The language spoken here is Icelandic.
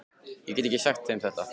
Ég get ekki sagt þeim þetta.